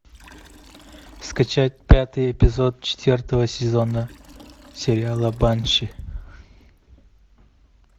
скачать пятый эпизод четвертого сезона сериала банши